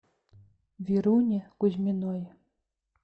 веруне кузьминой